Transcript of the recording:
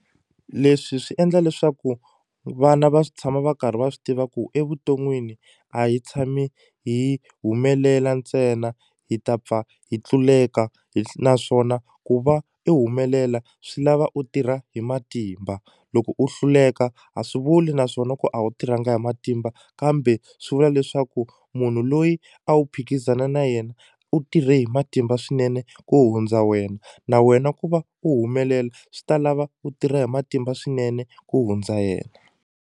Leswi swi endla leswaku vana va tshama va karhi va swi tiva ku evuton'wini a hi tshami hi humelela ntsena hi ta pfa hi tluleka naswona ku va i humelela swi lava u tirha hi matimba loko u hluleka a swi vuli naswona ku a wu tirhangi hi matimba kambe swi vula leswaku munhu loyi a wu phikizana na yena u tirhe hi matimba swinene ku hundza wena na wena ku va u humelela swi ta lava u tirha hi matimba swinene ku hundza yena.